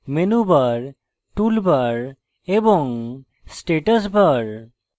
menu bar toolbar এবং status bar